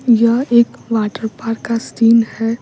यह एक water park का सीन है।